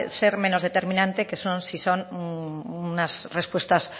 ser menos determinante que si son unas respuestas